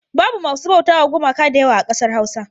Babu masu bautawa gumaka da yawa a ƙasar Hausa.